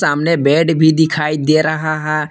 सामने बेड भी दिखाई दे रहा है।